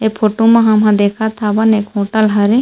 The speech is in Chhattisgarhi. ऐ फोटो मा हामन देखत हामान एक होटल हरे --